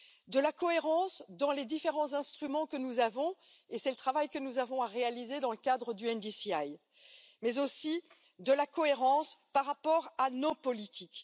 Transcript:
De la cohérence dans les différents instruments que nous avons, et c'est le travail que nous avons à réaliser dans le cadre du NDCI, mais aussi de la cohérence par rapport à nos politiques.